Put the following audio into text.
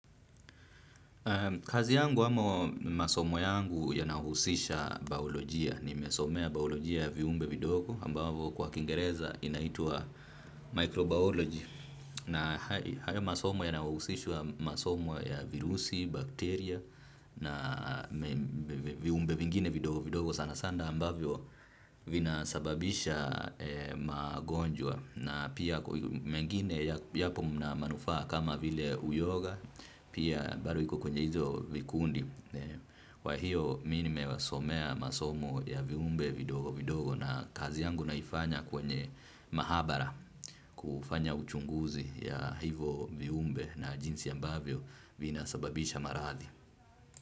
Kazi yangu amo masomo yangu yanahusisha baolojia. Ni mesomea baolojia ya viumbe vidogo ambavyo kwa kingereza inaitwa microbiology. Na hayo masomo yanahusishwa masomo ya virusi, bakteria na viumbe vingine vidogo vidogo sana sana ambavyo vinasababisha magonjwa. Na pia mengine yapo mna manufaa kama vile uyoga pia bado iko kwenye hizo vikundi. Kwa hiyo mimi nimewasomea masomo ya viumbe vidogo vidogo. Na kazi yangu naifanya kwenye mahabara kufanya uchunguzi ya hivo viumbe na jinsi ambavyo vina sababisha maradhi.